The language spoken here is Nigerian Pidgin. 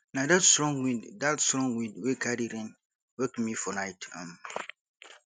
na dat strong wind dat strong wind wey carry rain wake me for night um